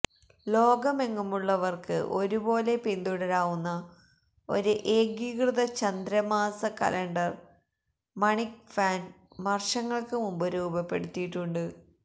ലോകമെങ്ങുമുള്ളവർക്ക് ഒരുപോലെ പിന്തുടരാവുന്ന ഒരു ഏകീകൃത ചന്ദ്ര മാസ കലണ്ടർ മണിക് ഫാൻ വർഷങ്ങൾക്ക് മുമ്പ് രൂപപ്പെടുത്തിയിട്ടുണ്ട്